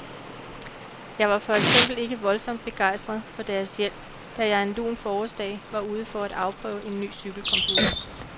Jeg var for eksempel ikke voldsomt begejstret for deres hjælp, da jeg en lun forårsdag var ude for at afprøve en ny cykelcomputer.